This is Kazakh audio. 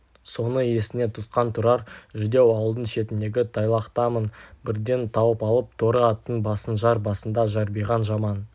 соны есіне тұтқан тұрар жүдеу ауылдың шетіндегі тайлақтамын бірден тауып алып торы аттың басын жар басында жарбиған жаман